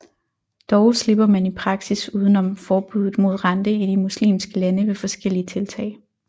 Dog slipper man i praksis udenom forbuddet mod rente i de muslimske lande ved forskellige tiltag